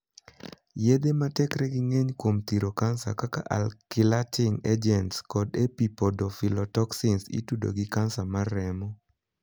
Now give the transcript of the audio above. Yedhe matekregi ng'eny kuom thiro kansa, kaka 'alkylating agents' kod 'epipodophyllotoxins' itudo gi kansa mar remo.